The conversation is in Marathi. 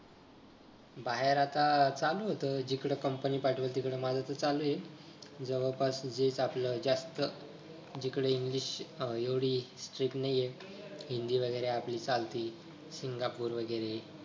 बाहेर आता चालू होत जिकडे company पाठवेल तिकडं माझं तर चालू आहे. जवळ पस जिथं आपलं जास्त जिकडे english एवढी strict नाहीये हिंदी वगैरे आपली चालती सिंगापूर वगैरे